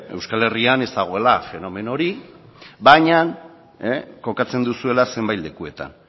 euskal herrian ez dagoela fenomeno hori baina kokatzen duzuela zenbait lekuetan